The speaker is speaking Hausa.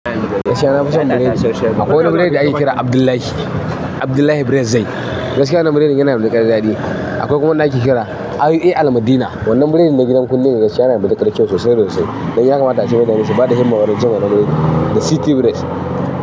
Gaskiya na fason biredi nasha shayi, akwai wani biredi ake kira Abdullahi, Abdullahi Bread. Zai. Gaskiya wannan biredin yana da matuƙar daɗi. Akwai kuma wanda ake kira IUA Al-Madina. Wannan biredin na gidan kulle gaskiya yana da matuƙar kyau sosai, sosai. Dan ya kamata ace mutane su bada himma wurin cin wannan biredin da City Bread.